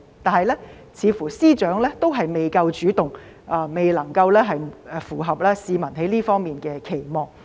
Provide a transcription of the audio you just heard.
可是，似乎司長仍未夠主動，未能符合市民在這方面的期望。